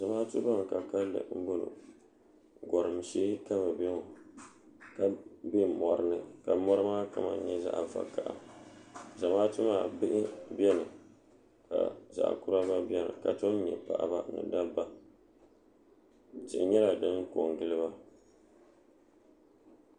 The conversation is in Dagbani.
zamaatu ban ka kanli n bɔŋɔ gɔrim shee ka bi bɛ ŋɔ ka bɛ mori ni mori maa kama nyɛ zaɣ vakaɣa zamaatu maa bihi biɛni ka zaɣ kura gba biɛni ka tom nyɛ paɣaba ni dabba tihi nyɛla din ko n giliba